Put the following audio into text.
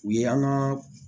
U ye an ka